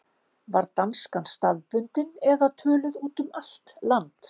Var danskan staðbundin eða töluð út um allt land?